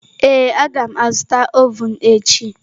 Ee, a ga m azụta ovun echi.